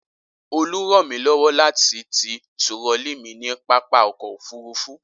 Olú ràn mí lọ́wọ́ láti ti turọlí mi ní pápá ọkọ̀-òfurufú.